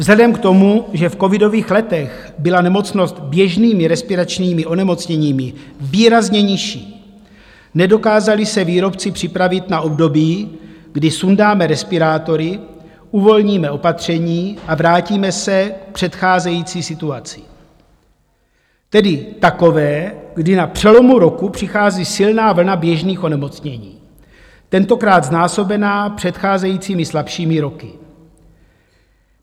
Vzhledem k tomu, že v covidových letech byla nemocnost běžnými respiračními onemocněními výrazně nižší, nedokázali se výrobci připravit na období, kdy sundáme respirátory, uvolníme opatření a vrátíme se k předcházející situaci, tedy takové, kdy na přelomu roku přichází silná vlna běžných onemocnění, tentokrát znásobená předcházejícími slabšími roky.